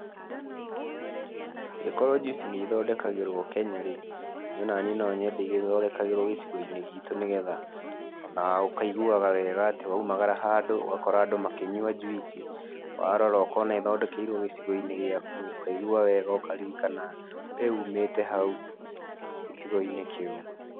Angĩkorwo njuici nĩ ithondekagĩrwo Kenya rĩ, niĩ ona niĩ no nyende igĩthondekagĩrwo gĩcigo-inĩ gitũ nĩ getha ona ũkaiguaga wega atĩ ona waumagara handũ ũgakora andũ makĩnyua njuici, warora ũkona ĩthondekeirwo gĩcigo-inĩ gĩaku. Ũkaigua wega, ũkaririkana we umĩte hau gicigo-inĩ kĩu.